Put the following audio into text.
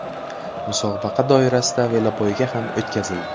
Musobaqa doirasida velopoyga ham o‘tkazildi.